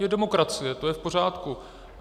Je demokracie, to je v pořádku.